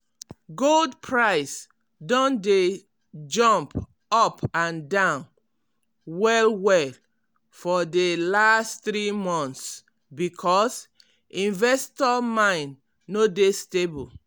gold price don dey jump up and down well-well for de last three months because investor mind no dey stable.